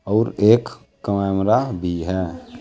और एक कैमरा भी है।